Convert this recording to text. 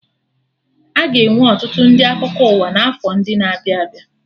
Aga enwe ọtụtụ ndị akụkọ ụwa na afọ ndị na-abịa abịa